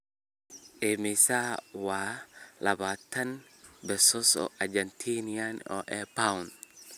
Immisa waa labaatan pesos Argentine ee pound?